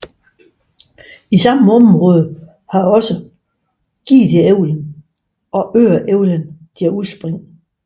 I samme område har også Gideälven og Öreälven deres udspring